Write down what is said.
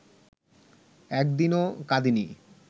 একদিনও কাঁদিনি